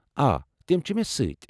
آ، تِمہ چھ مےٚ سۭتۍ ۔